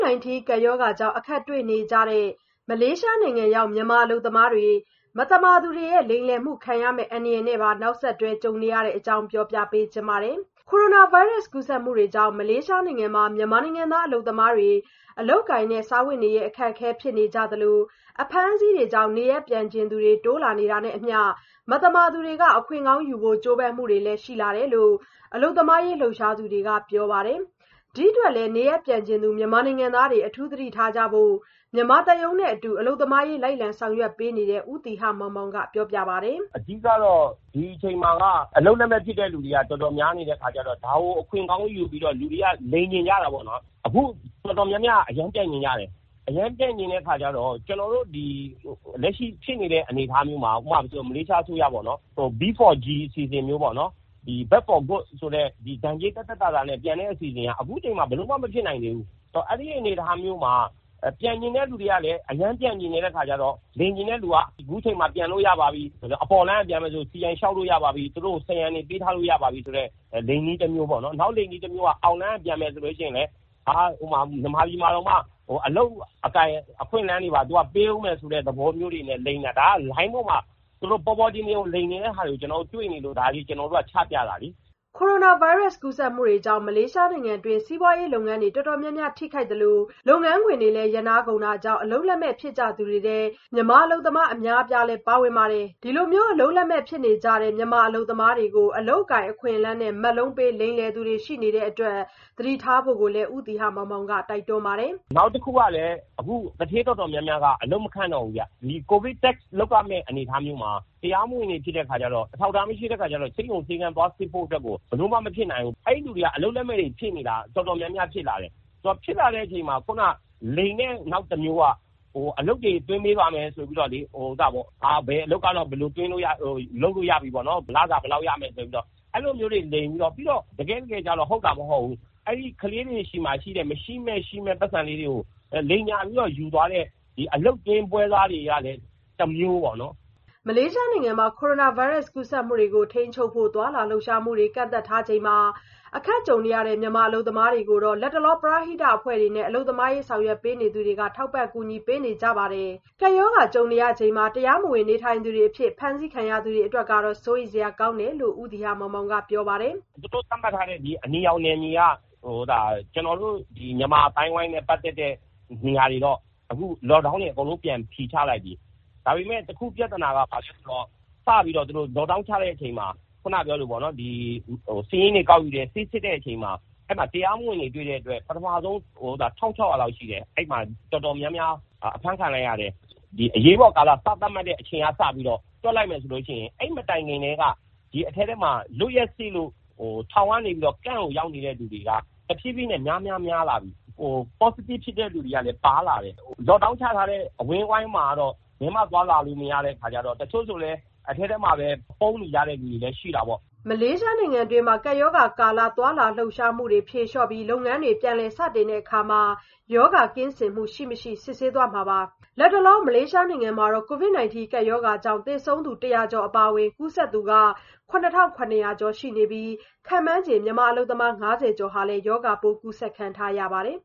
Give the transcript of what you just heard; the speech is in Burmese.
-19 ကပ်ရောဂါကြောင့် အခက်တွေ့နေကြတဲ့ မလေးရှားနိုင်ငံရောက် မြန်မာအလုပ်သမားတွေ မသမာသူတွေရဲ့ လိမ်လည်မှုခံရမယ့် အန္တရာယ်နဲ့ပါ နောက်ဆက်တွဲ ကြုံနေရပါတယ်။ အပြည့်အစုံကို မဆုမွန်က ဆက်သွယ်မေးမြန်း တင်ပြထားပါတယ်။ ကိုရိုနာဗိုင်းရပ်စ် ကူးစက်မှုတွေကြောင့် မလေးရှားနိုင်ငံမှာ မြန်မာနိုင်ငံသား အလုပ်သမားတွေ အလုပ်အကိုင်နဲ့ စားဝတ်နေရေး အခက်အခဲ ဖြစ်နေကြသလို အဖမ်းအဆီးတွေကြောင့် နေရပ်ပြန်ချင်သူတွေ တိုးလာနေတာနဲ့အမျှ မသမာသူတွေက အခွင့်ကောင်းယူဖို့ ကြိုးပမ်းမှုတွေလည်း ရှိလာတယ်လို့ အလုပ်သမားရေး လှုပ်ရှားသူတွေက ပြောပါတယ်။ ဒီအတွက်လည်း နေရပ်ပြန်ချင်သူ မြန်မာနိုင်ငံသားတွေ အထူးသတိထားကြဖို့ မြန်မာသံရုံးနဲ့အတူ အလုပ်သမားရေး လိုက်လံဆောင်ရွက်ပေးနေတဲ့ ဦးသီဟမောင်မောင်က ပြောပါတယ်။ “အဓိကကတော့ ဒီအချိန်မှာက အလုပ်လက်မဲ့ ဖြစ်တဲ့သူတွေက တော်တော်များနေတဲ့ အခါကျတော့ ဒါကို အခွင့်ကောင်းယူပြီးတော့ လူတွေက လိမ်ချင်ကြတာပေါ့နော်။ အခု တော်တော်များများက အရမ်းကို ပြန်ချင်ကြတယ်။ အခုလက်ရှိဖြစ်နေတဲ့ အနေအထားမျိုးမှာ မလေးရှားအစိုးရက လုပ်ပေးတဲ့ တရားမဝင် အလုပ်သမားတွေ ဒဏ်ကြေးသက်သက်သာသာနဲ့ ပြန်လို့ရမယ့် B4G (Back For Good) အစီအစဉ်ကလည်း အခုအချိန်မှာ ဘယ်လိုမှ မဖြစ်နိုင်သေးဘူး။ “ဒါပေမယ့် အဲ့လိုအနေအထားမှာ ပြန်ချင်သူက အရမ်းပြန်ချင်တဲ့ အခါကျတော့ လိမ်တဲ့သူတွေက အခုအချိန်မှာ ပြန်လို့ရပါပြီ၊ အပေါ်လမ်းက ပြန်မယ်ဆိုလည်း CI (Citizen of Identification) လျှောက်လို့ရပါပြီ၊ စရံငွေတွေ ပေးထားလို့ရပါပြီဆိုတဲ့ ဒါက လိမ်နည်းတမျိုးပေါ့နော်။ အောက်လမ်းက ပြန်မယ်ဆိုလည်း စီစဉ်ပေးမယ်၊ မြန်မာပြည် ပြန်ရောက်ရင်တောင် အလုပ်အကိုင် အခွင့်အလမ်းတွေ ရပါပြီဆိုတဲ့ သဘောမျိုး လိုင်းပေါ်မှာ ဒါ ပေါ်ပေါ်တင်တင်ကို လိမ်တဲ့ဟာတွေ တွေ့နေလို့ အထူးသတိထားကြဖို့ ကျနော်တို့က ချပြတာပါ။” ကိုရိုနာဗိုင်းရပ်စ် ကူးစက်မှုတွေကြောင့် မလေးရှားနိုင်ငံတွင်း စီးပွားရေးလုပ်ငန်းတွေ တော်တော်များများ ထိခိုက်သလို လုပ်ငန်းခွင်တွေလည်း ရပ်နားကုန်တာကြောင့် အလုပ်လက်မဲ့ ဖြစ်ကြသူတွေထဲ မြန်မာအလုပ်သမား အများအပြားလည်း ပါဝင်ပါတယ်။ ဒီလို အလုပ်လက်မဲ့ ဖြစ်နေကြတဲ့ မြန်မာအလုပ်သမားတွေကို အလုပ်အကိုင် အခွင့်အလမ်းနဲ့ မက်လုံးပေး လိမ်လည်သူတွေ ရှိနေတဲ့အတွက် သတိထားဖို့လည်း ဦးသီဟမောင်မောင်က တိုက်တွန်းပါတယ်။ “နောက်တခုက အခု ကိုဗစ်ဖြစ်ချိန် သူဌေးတော်တော်များများက အလုပ်တော်တော်များများက ရပ်ပြီး အလုပ်သမားတွေလည်း မခန့်တော့ဘူး။ အထူးသဖြင့် ကိုဗစ် Test လုပ်ရမှာမျိုးဆိုတော့ တရားမဝင် အလုပ်သမားတွေ ဆေးရုံဆေးခန်းသွားဖို့ ဘယ်လိုမှ မဖြစ်နိုင်တော့ဘူး။ အဲ့လိုလူတွေ အလုပ်လက်မဲ့တွေ တော်တော်များများ ဖြစ်လာနေကြတယ်။ အဲ့လိုဖြစ်နေပါတယ်ဆိုမှ လိမ်တဲ့နောက်တမျိုးက တိုးလာပြီး အလုပ်တွေ သွင်းပေးပါမယ်ဆိုပြီး ဘယ်အလုပ်ကတော့ လုပ်လို့ရတယ်၊ လစာဘယ်လောက်ရမယ်ဆိုပြီး အဲ့လိုမျိုးတွေ လိမ်ပြီးတော့၊ တကယ့်တကယ်လည်းကျရော မဟုတ်ဘဲနဲ့ အလုပ်သမားလေးတွေဆီက မရှိမဲ့ရှိမဲ့ အလုပ်သွင်း ပွဲစားတွေကလည်း တမျိုးပေါ့နော်။” မလေးရှားနိုင်ငံမှာ ကိုရိုနာဗိုင်းရပ်စ် ကူးစက်မှုတွေကို ထိန်းချုပ်ဖို့ သွားလာလှုပ်ရှားမှုတွေ ကန့်သတ်ထားချိန်မှာ အခက်ကြုံနေရတဲ့ မြန်မာအလုပ်သမားတွေကိုတော့ လတ်တလောမှာ ပရဟိတအဖွဲ့တွေနဲ့ အလုပ်သမားရေး ဆောင်ရွက်ပေးနေသူတွေက ထောက်ပံ့ ကူညီပေးနေကြတာပါ။ ကပ်ရောဂါကြုံရချိန်မှာ တရားမဝင် နေထိုင်သူတွေအဖြစ် ဖမ်းဆီးခံရသူတွေ အတွက်ကတော့ စိုးရိမ်စရာကောင်းတယ်လို့ ဦးသီဟမောင်မောင်က ပြောပါတယ်။ “အခု သူတို့က အနီရောင်သတ်မှတ်ထားတဲ့ မြန်မာတွေ အနေများတဲ့ အဲ့ဒီ့နေရာတွေမှာ Lock Down စဖြေပေးနေပြီ။ ဒါပေမယ့် ပြဿနာက ဘာလဲဆိုတော့ Lock Down ချပြီး စာရင်းတွေကောက်တဲ့အချိန်မှာ တရားမဝင် နေထိုင်သူတွေ တွေ့တော့ ဖမ်းတာ ၁,၆၀၀ လောက်ရှိနေတယ်။ အဲ့မှာ တော်တော်များများ အဖမ်းခံလိုက်ရတာ ရှိတယ်။ ကမ့်ပ်တွေထဲမှာ လွတ်ရက်ပြည့်တဲ့သူရော အဖမ်းခံရတဲ့သူရော အရေးပေါ်ကာလ ကမ့်ပ်တွေထဲ အရမ်းများလာတဲ့ အနေအထားဖြစ်နေတာ စိုးရိမ်စရာဖြစ်တယ်။ ပေါ့စတစ်ဖြစ်တဲ့သူတွေလည်း ပါလာတယ်။ အခုတော့ Lock Down ချထားတဲ့နေရာမှာ တချို့ ပုန်းနေကြဆဲသူတွေလည်း ရှိတယ်။ လောလောဆယ်တော့ ရှောင်ပြီးနေနေကြတဲ့သူတွေ များလာတယ်။” မလေးရှားနိုင်ငံတွင်း ကပ်ရောဂါကာလ သွားလာလှုပ်ရှားမှုတွေကို ဖြေလျှော့ပြီး လုပ်ငန်းတွေ ပြန်လည်စတင်တဲ့အခါ ရောဂါကင်းစင်မှု ရှိ-မရှိ စစ်ဆေးသွားမှာပါ။ လတ်တလော မလေးရှားနိုင်ငံမှာတော့ COVID-19 ကပ်ရောဂါကြောင့် သေဆုံးသူ ၁၀၀ ကျော် အပါအဝင် ကူးစက်သူ ၇,၇၀၀ ကျော် ရှိနေပြီး ခန့်မှန်းချေ မြန်မာအလုပ်သမား ၅၀ ကျော်ဟာလည်း ရောဂါပိုး ကူးစက်ခံထားရပါတယ်